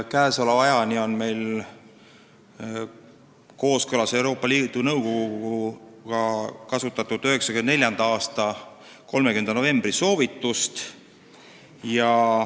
Seniajani oleme kooskõlas Euroopa Liidu Nõukoguga kasutanud 1994. aasta 30. novembri soovitust.